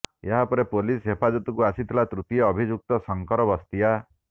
ଏହାପରେ ପୋଲିସ ହେପାଜତକୁ ଆସିଥିଲା ତୃତୀୟ ଅଭିଯୁକ୍ତ ଶଙ୍କର ବସ୍ତିଆ